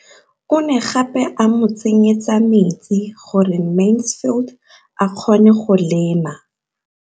O ne gape a mo tsenyetsa metsi gore Mansfield a kgone go lema.